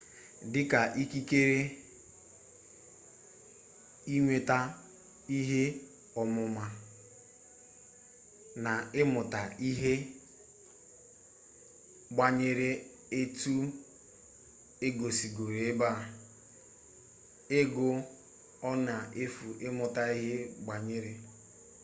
dịka ikikere ịnweta ihe ọmụma na ịmụta ihe gbanwere etu e gosigoro ebe a ego ọ na-efu ịmụta ihe gbanwere